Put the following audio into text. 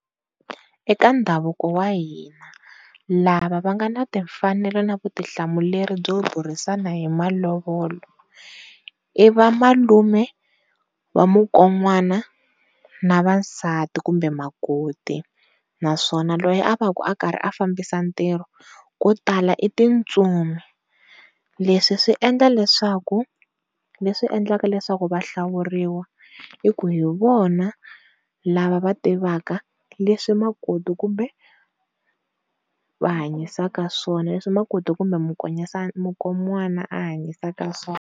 Eka ndhavuko wa hina lava va nga na timfanelo na vutihlamuleri byo burisana hi malovola i va malume wa mukon'wana na va nsati kumbe makoti. Naswona loyi a va ku a fambisa ntirho ko tala i tintsumi leswi swi endla leswaku leswi endlaka leswaku va hlawuriwa, i ku hi vona lava va tivaka leswi makoti kumbe va hanyisaka swona leswi makoti kumbe mukonwana a hanyisaka swona.